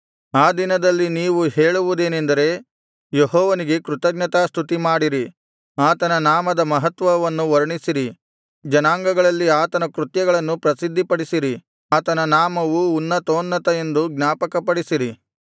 ಆ ದಿನದಲ್ಲಿ ನೀವು ಹೇಳುವುದೇನೆಂದರೆ ಯೆಹೋವನಿಗೆ ಕೃತಜ್ಞತಾ ಸ್ತುತಿಮಾಡಿರಿ ಆತನ ನಾಮದ ಮಹತ್ವವನ್ನು ವರ್ಣಿಸಿರಿ ಜನಾಂಗಗಳಲ್ಲಿ ಆತನ ಕೃತ್ಯಗಳನ್ನು ಪ್ರಸಿದ್ಧಿಪಡಿಸಿರಿ ಆತನ ನಾಮವು ಉನ್ನತೋನ್ನತ ಎಂದು ಜ್ಞಾಪಕಪಡಿಸಿರಿ